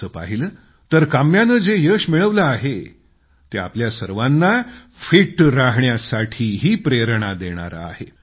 तसं पाहिलं तर काम्यानं जे यश मिळवलं आहे ते आपल्या सर्वांना फिट राहण्यासाठीही प्रेरणा देणारे आहे